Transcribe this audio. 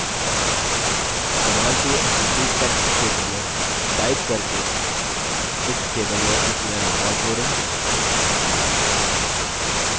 command to execute text क्षेत्र में type करके books table में नया record जोड़ें: